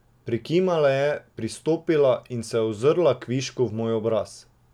Prikimala je, pristopila in se ozrla kvišku v moj obraz.